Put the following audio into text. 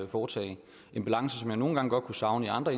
foretage en balance som jeg nogle gange godt kunne savne i andre